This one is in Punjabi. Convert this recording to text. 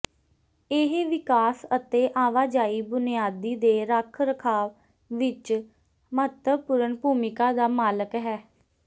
ਇਹ ਵਿਕਾਸ ਅਤੇ ਆਵਾਜਾਈ ਬੁਨਿਆਦੀ ਦੇ ਰੱਖ ਰਖਾਵ ਵਿੱਚ ਮਹੱਤਵਪੂਰਨ ਭੂਮਿਕਾ ਦਾ ਮਾਲਕ ਹੈ